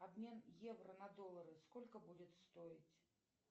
обмен евро на доллары сколько будет стоить